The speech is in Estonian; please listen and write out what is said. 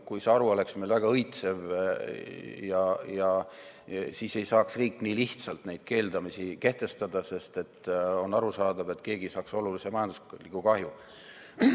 Kui see haru oleks meil väga õitsev, siis ei saaks riik nii lihtsalt neid keelamisi kehtestada, sest on arusaadav, et keegi saaks olulise majandusliku kahju.